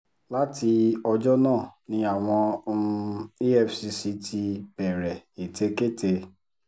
láti ọjọ́ náà ni àwọn um efcc ti bẹ̀rẹ̀ ètekéte